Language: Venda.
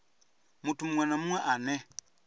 muthu munwe na munwe ane